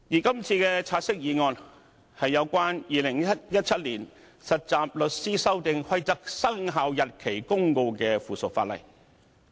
今次的"察悉議案"，是關乎《〈2017年實習律師規則〉公告》的附屬法例。